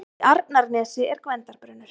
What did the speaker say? Í Arnarnesi er Gvendarbrunnur.